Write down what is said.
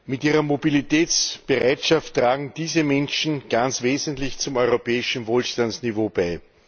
Mit ihrer Mobilitätsbereitschaft tragen diese Menschen ganz wesentlich zum europäischen Wohlstandsniveau bei.